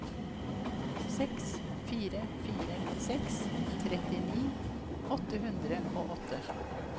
seks fire fire seks trettini åtte hundre og åtte